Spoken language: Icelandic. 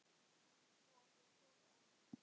Í kofa bjó Kofi Annan.